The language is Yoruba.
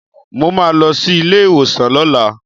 Mo máa lọ sílé ìwòsàn lọ́la